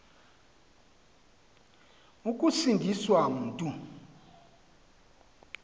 ukusindi swa mntu